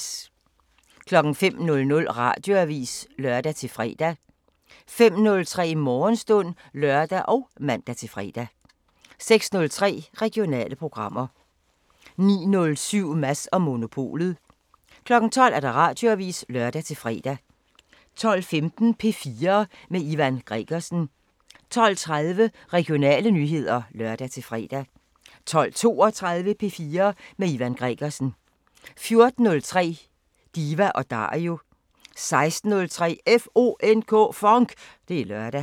05:00: Radioavisen (lør-fre) 05:03: Morgenstund (lør og man-fre) 06:03: Regionale programmer 09:07: Mads & Monopolet 12:00: Radioavisen (lør-fre) 12:15: P4 med Ivan Gregersen 12:30: Regionale nyheder (lør-fre) 12:32: P4 med Ivan Gregersen 14:03: Diva & Dario 16:03: FONK! Det er lørdag